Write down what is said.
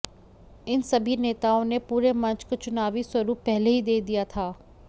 इन सभी नेताओं ने पूरे मंच को चुनावी स्वरुप पहले ही दे दिया था